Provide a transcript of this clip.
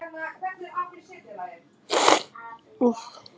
Það var nánast sama við hvern hann talaði.